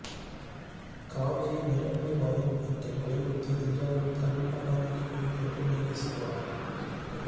காவிரி மேலாண்மை வாரியம் அமைக்க வலியுறுத்தி தஞ்சாவூரில் கர்நாடகா வங்கி மீது கறுப்பு மை வீசி போராட்டம்